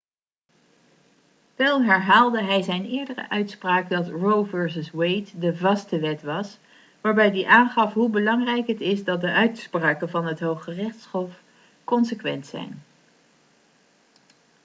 wel herhaalde hij zijn eerdere uitspraak dat roe vs wade de vaste wet' was waarbij hij aangaf hoe belangrijk het is dat de uitspraken van het hooggerechtshof consequent zijn